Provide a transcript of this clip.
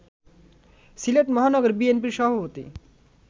সিলেট মহানগর বিএনপির সভাপতি